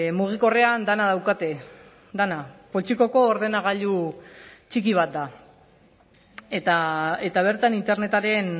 mugikorrean dena daukate dena poltsikoko ordenagailu txiki bat da eta bertan internetaren